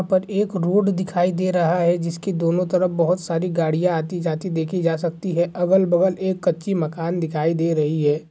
यहाँ पर एक रोड दिखाई दे रहा है जिसके दोनों तरफ बहुत सारी गाड़ियां आती-जाती देखी जा सकती है अगल-बगल एक कच्ची मकान दिखाई दे रही है।